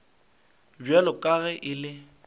bjalo ka ge e le